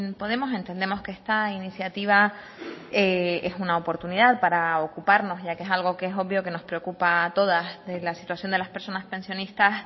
podemos entendemos que esta iniciativa es una oportunidad para ocuparnos ya que es algo que es obvio que nos preocupa a todas de la situación de las personas pensionistas